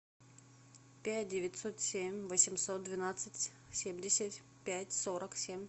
пять девятьсот семь восемьсот двенадцать семьдесят пять сорок семь